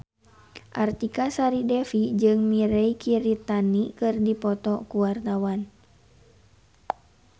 Artika Sari Devi jeung Mirei Kiritani keur dipoto ku wartawan